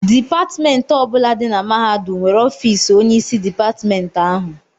Dipatịmentị ọ bụla dị na mahadum nwere ọfiisi onyeisi dịpatịmentị ahụ.